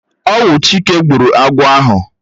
Ọwu Chike gburu agwọ̀ ahụ.